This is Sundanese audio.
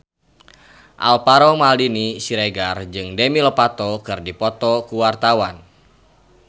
Alvaro Maldini Siregar jeung Demi Lovato keur dipoto ku wartawan